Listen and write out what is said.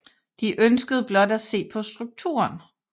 De ønskede blot at se på strukturen